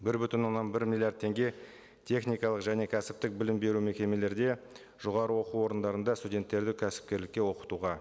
бір бүтін оннан бір миллиард теңге техникалық және кәсіптік білім беру мекемелерде жоғарғы оқу орындарында студенттерді кәсіпкерлікке оқытуға